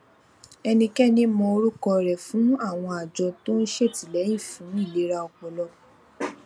ẹnikẹni mọ orúkọ rẹ fún àwọn àjọ tó ń ṣètìlẹyìn fún ìlera ọpọlọ